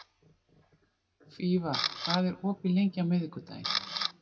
Fífa, hvað er opið lengi á miðvikudaginn?